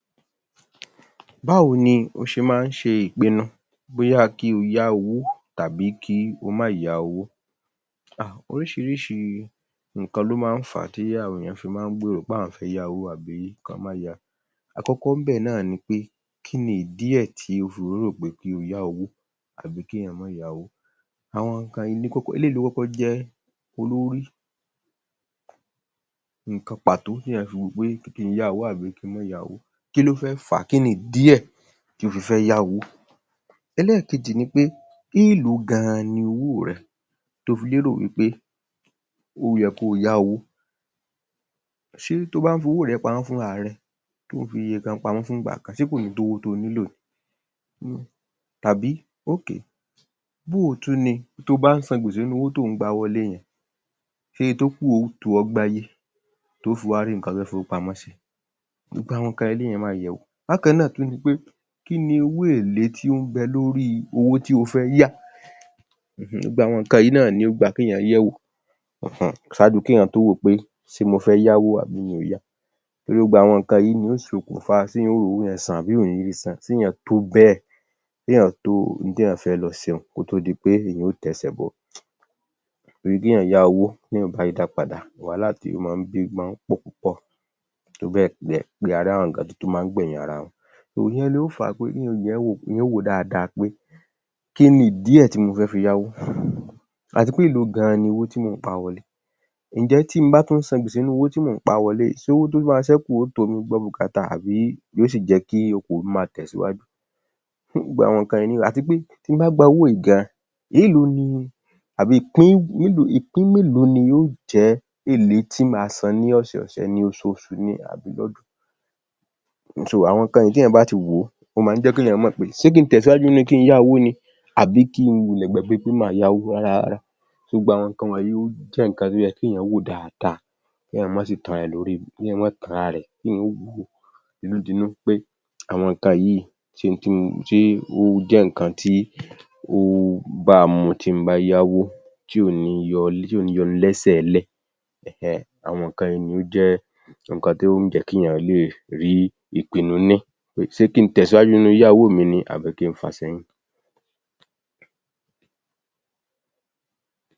Báwo ni o ṣe ń ṣe ìpinu bóyá kí o yá owó tàbí kí o má yá owó? Hà, oríṣiríṣi nǹkan ló máa ń fà á tí àwọn èyàn fi máa ń gbèrò pé àwọn fẹ́ yá owó àbí kí wọ́n má yá. Àkọ́kọ́ ńbẹ̀ náà ni pé kíni ìdí ẹ̀ tí o fi rò ó wò pé kí o yá owó àbí kí èyàn máà yá owó, àwọn nǹkan yìí ni kokko, eléyìí ló kọ́kọ́ jẹ́ olórí nǹkan pàtó téyàn fi wò ó pé kí n yá owó tàbí kí n má yá owó, kí ló fẹ́ fà á, kíni ìdí ẹ̀ tí o fi fẹ́ yá owó. Ẹlẹ́ẹ̀kejì ni pé, èló gan-an ni owó rẹ tí o fi lérò pé ó yẹ kí o yá owó, ṣé tí o bá ń fi owó rẹ pamọ́ fúnra rẹ, tí ò ń fi iye kan pamọ́ fún ìgbà kan, ṣé kò ní tó iye tí o nílò ni, tàbí bóo tún ni, tó o bá n ́san gbèsè nínú owó tí ò ń gba wọlé yen, ṣe iye tó kù yóò tó ọ gbáyé, to ó fi wá rí nńkan fẹ́ ẹ́ fi owó pamó sí. Gbogbo àwọn nǹkan yí lèyàn máà yẹ̀wo. Bákan náà tún ni pé kíni owó èlé tí ó ń bẹ lórí owó tí o fẹ́ yá um gbogbo àwọn nǹkan wọ̀nyí náà ni ó gba kéèyàn yẹ̀wò um ṣáájú kéèyàn tó wò ó pé ṣé mo fẹ́ yáwó àbí mi ò yá, gbogbo àwọn nǹkan wọ̀nyí ni yóò ṣokùnfa ṣé èyàn ó rí owó yẹn san àbí èyàn ò ní ri san, ṣe èyàn tó bẹ́ẹ̀, ṣé èyàn tó ohun tí èyàn fẹ́ lọ ṣe, kó tó di pé èyàn ó tẹsẹ̀ bọ́, torí téèyàn yá owó, téèyàn ò bá ri dá padà, wàhálà tí ó máa ń bí ó máa ń pọ̀ púpọ̀ tó bẹ́ẹ̀ gẹ́ pẹ a rí àwọn tó máa ń gbẹ̀yìn ara wọn. Ìyẹn ló fà á pé, kí èyàn yẹ̀ ẹ́ wò, èyàn ó wò ó dáadáa pé kíni ìdí ẹ̀ tí mo fẹ́ fi yá owó, àti eéèlo gan-an ni owó tí mò ń pa wọlé, ǹjẹ́ tí mo bá ti san gbèsè nínú owó tí mò ń pa wọlé yìí, ṣé owó tó máa ṣẹ́kù ó tó mi gbé bùkátà àbí yóò sì jẹ́ kí okòwò mi ó máa tẹ̀síwájú, gbogbo àwọn nǹkan wọ̀nyi um àti pé bí mo bá gba owó yìí gan-an, èló ni, ìpín mélòó, ìpín mélòó ni yóò jẹ́ èlé tí má á n san ní ọ̀sẹ̀ ọ̀sẹ̀ ni, oṣooṣù àbí lọ́dún, àwọn nǹkan yìí téyàn bá ti wò ó, ó máa jẹ́ kéyàn mọ̀ pé ṣe kí n tẹ̀síwájú nínú kí n yá owó ni àbí kí n wulẹ̀ gbàgbé pé má à yá owó rárá, gbogbo àwọn nǹkan wọ̀nyí jẹ́ nǹkan tó yẹ kéyàn wò dáadáa, kéyàn má sì tan ara rẹ̀ lórí, kéyàn má tan ara rẹ̀ kí èyàn wò ó tinútinú pé àwọn nǹkan yìí ṣe ohun tí mo, ṣé ó jẹ́ nǹkan tí ó bá a mu tí n bá yá owó, tí ò ní í yọ ni, tí ò ní í yọ ni lẹ́sẹ̀ sílẹ̀ [um]àwọn nǹkan yìí ni ó jẹ́ nǹkan tí yóò jẹ́ kí èyàn lè rí ìpinu ní, pé ṣé kí n tèsíwájú nínú yíyá owó mi ni àbí kí n fà sẹ́yìn